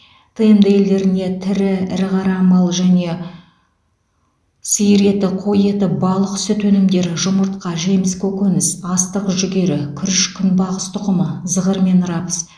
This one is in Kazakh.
тмд елдеріне тірі ірі қара малы және сиыр еті қой еті балық сүт өнімдері жұмыртқа жеміс көкөніс астық жүгері күріш күнбағыс тұқымы зығыр мен рапс